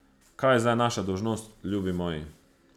Kaj je zdaj naša dolžnost, ljubi moji?